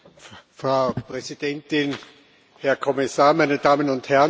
Frau Präsidentin, Herr Kommissar, meine Damen und Herren!